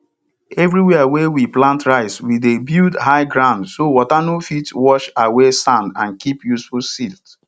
everywhere wey we plant rice we dey build high grounds so water no fit wash away sand and keep useful silt